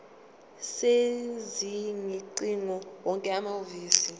sezingcingo wonke amahhovisi